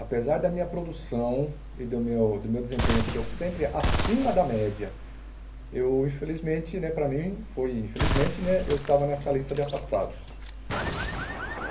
Apesar da minha produção e do meu do meu desempenho ser sempre acima da média, eu infelizmente né, para mim, foi infelizmente né, eu estava nessa lista de afastados.